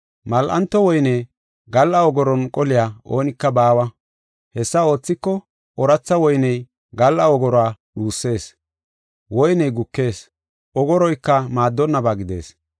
Mal7anto woyne gal7a ogoron qoliya oonika baawa. Hessa oothiko, ooratha woyney gal7a ogoruwa dhusees; woyney gukees ogoroyka maaddonnaba gidees.